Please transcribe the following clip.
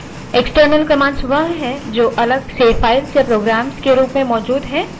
external commands वह है जो अलग से files या programs के रूप में मौजूद है